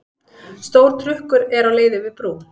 Stór trukkur er á leið yfir brú.